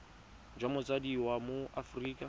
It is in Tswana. jwa motsadi wa mo aforika